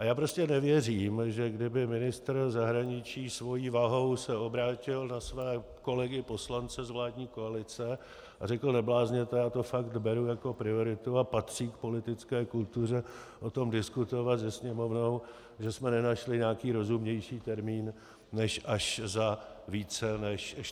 A já prostě nevěřím, že kdyby ministr zahraničí svojí vahou se obrátil na své kolegy poslance z vládní koalice a řekl: neblázněte, já to fakt beru jako prioritu a patří k politické kultuře o tom diskutovat se Sněmovnou, že jsme nenašli nějaký rozumnější termín než až za více než 14 dní.